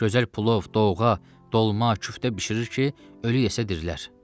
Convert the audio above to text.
Gözəl plov, doğğa, dolma, küftə bişirir ki, ölü yesə dirilər.